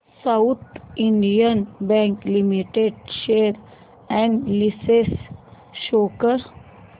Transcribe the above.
south Indian Bank Limited share analysis show कर